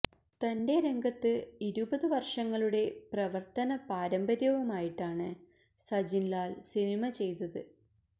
തന്റെ രംഗത്ത് ഇരുപതു വര്ഷങ്ങളുടെ പ്രവര്ത്തന പാരമ്പര്യവുമായിട്ടാണ് സജിന് ലാല് സിനിമ ചെയ്തത്